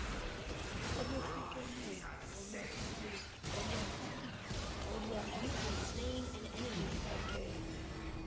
olwehlukene olwaluhleli lufihlakele